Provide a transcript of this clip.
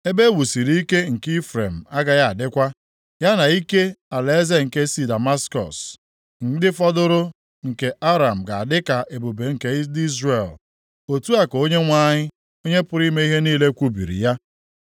Ebe e wusiri ike nke Ifrem agaghị adịkwa, ya na ike alaeze nke sị Damaskọs, ndị fọdụrụ nke Aram ga-adị ka ebube nke ndị Izrel,” otu a ka Onyenwe anyị, Onye pụrụ ime ihe niile kwubiri ya.